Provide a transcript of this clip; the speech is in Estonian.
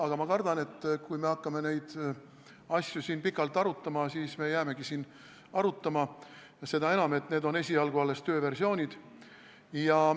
Aga ma kardan, et kui me hakkame neid asju siin pikalt arutama, siis me jäämegi arutama, seda enam, et need on esialgu alles tööversioonid.